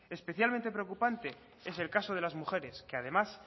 especialmente preocupante es el caso de las mujeres que además